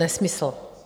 Nesmysl.